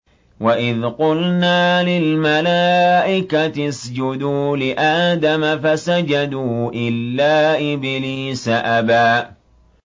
وَإِذْ قُلْنَا لِلْمَلَائِكَةِ اسْجُدُوا لِآدَمَ فَسَجَدُوا إِلَّا إِبْلِيسَ أَبَىٰ